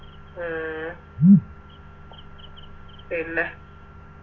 ഉം പിന്നെ